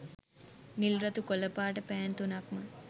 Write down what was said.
නිල් රතු කොල පාට පෑන් තුනක්ම